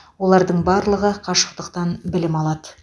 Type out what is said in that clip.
олардың барлығы қашықтықтан білім алады